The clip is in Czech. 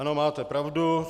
Ano, máte pravdu.